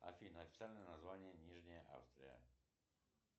афина официальное название нижняя австрия